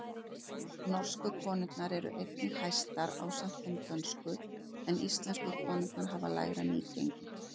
Norsku konurnar eru einnig hæstar ásamt þeim dönsku, en íslensku konurnar hafa lægra nýgengi.